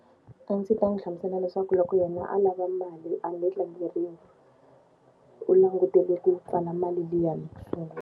A ndzi ta n'wi hlamusela leswaku loko yena a lava mali a nge tlangeriwi, u langutele ku pfala mali liyani ku sungula.